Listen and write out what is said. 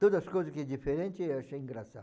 Todas as coisas aqui diferente achei